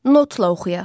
Notla oxuyaq.